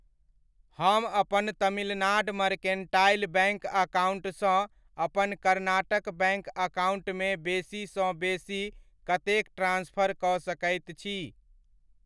हम अपन Tamil Nadu mercantile bank account सँ अपन कर्नाटक बैङ्क अकाउण्ट मे बेसीसँ बेसी कतेक ट्रांस्फर कऽ सकैत छी?